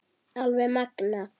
Alveg magnað!